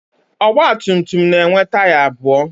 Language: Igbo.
Ọgbatumtum na-enwe taya abụọ.